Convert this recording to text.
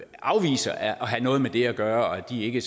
afviser at have noget med det at gøre og de vil ikke